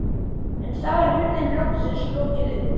En þá er hurðinni loksins lokið upp.